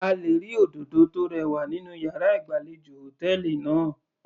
A lè rí òdòdó tó rẹwà nínú yàrá ìgbàlejò hòtẹ́ẹ̀lì náà.